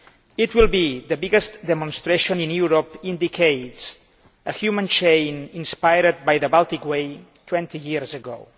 It will be the biggest demonstration for decades a human chain inspired by the Baltic Way 20 years ago.